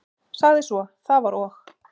Sagði svo: Það var og